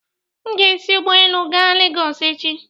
M ga-esi ụgbọelu gaa Legọsị echi.